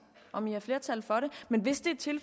om der er flertal for